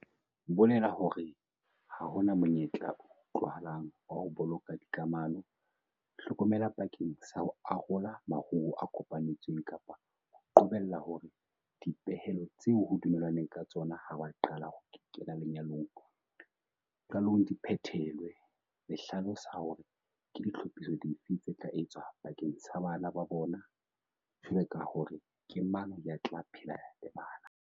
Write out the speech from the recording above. bolela hore ha ho na monyetla o utlwahalang wa ho boloka dikamano, hlokomela bakeng sa ho arola maruo a kopanetsweng kapa ho qobella hore dipehelo tseo ho dumellanweng ka tsona ha ba qala ho kena lenyalong qalong di phethelwe, le hlalosa hore ke ditlhophiso dife tse tla etswa bakeng sa bana ba bona, jwaloka hore ke mang ya tla phela le bana.